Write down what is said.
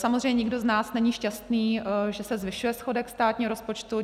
Samozřejmě nikdo z nás není šťastný, že se zvyšuje schodek státního rozpočtu.